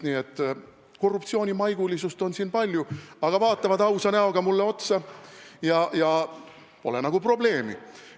Nii et korruptsioonimaigulisust on siin palju, aga vaatavad ausa näoga mulle otsa ja pole nagu probleemi.